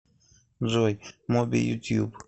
джой моби ютьюб